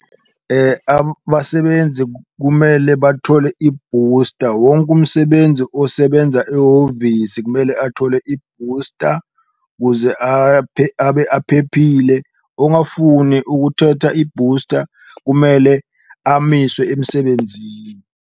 Abasebenzi kumele bathole i-booster, wonke umsebenzi osebenza ehhovisi kumele athole i-booster kuze abe aphephile, ongafuni ukuthatha i-booster kumele amiswe emsebenzini.